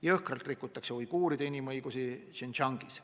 Jõhkralt rikutakse uiguuride inimõigusi Xinjiangis.